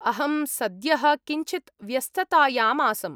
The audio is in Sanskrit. अहं सद्यः किञ्चित् व्यस्ततायाम् आसम्।